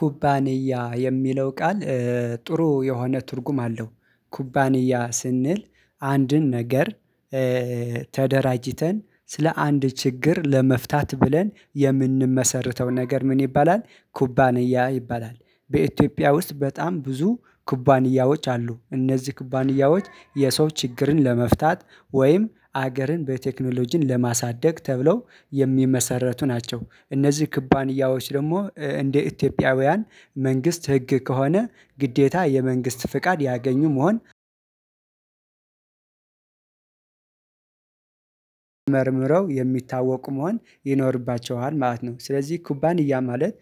ኩባንያ የሚለው ቃል ጥሩ የሆነ ትርጉም አለው። ኩባንያ ስንል አንድን ነገር ተደራጅተን ስለ አንድ ችግር ለመፍታት ብለን የምንመሰርተው ነገር ምን ይባላል? ኩባንያ ይባላል። በኢትዮጵያ ውስጥ በጣም ብዙ ኩባንያዎች አሉ። እነዚህ ኩባንያዎች የሰው ችግርን ለመፍታት ወይም ሀገርን በቴክኖሎጂን ለማሳደግ ተብለው የሚመሰረቱ ናቸው። እነዚህ ኩባንያዎች ደግሞ እንደ ኢትዮጵያውያን መንግስት ህግ ከሆነ ግዴታ የመንግስት ፍቃድ ያገኙ መሆን መርምረው የሚታወቁ መሆን ይኖርባቸዋል ማለት ነው። ስለዚህ ኩባንያ ማለት